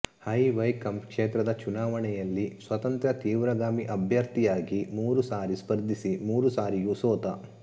high Vaikom ಕ್ಷೇತ್ರದ ಚುನಾವಣೆಯಲ್ಲಿ ಸ್ವತಂತ್ರ ತೀವ್ರಗಾಮಿ ಅಭ್ಯರ್ಥಿಯಾಗಿ ಮೂರು ಸಾರಿ ಸ್ಪರ್ಧಿಸಿ ಮೂರು ಸಾರಿಯೂ ಸೋತ